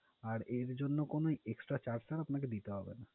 আর এর জন্য কোনো extra charge sir আপনাকে দিতে হবে না।